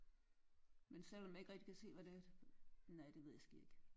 Men selvom jeg ikke rigtig kan se hvad det er at nej det ved jeg sgu ikke